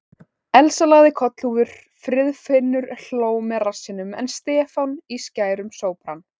Elsa lagði kollhúfur, Friðfinnur hló með rassinum en Stefán í skærum sópran.